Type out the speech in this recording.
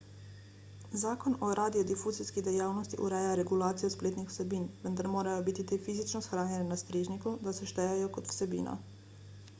zakon o radiodifuzijski dejavnosti ureja regulacijo spletnih vsebin vendar morajo biti te fizično shranjene na strežniku da se štejejo kot vsebina